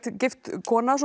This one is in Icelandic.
gift kona